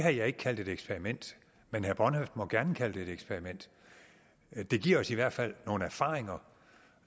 har jeg ikke kaldt et eksperiment men herre bornhøft må gerne kalde det et eksperiment det giver os i hvert fald nogle erfaringer